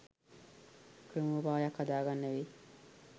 ක්‍රමෝපායක් හදා ගන්න වෙයි